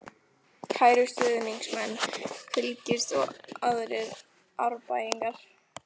Kæru stuðningsmenn Fylkis og aðrir Árbæingar.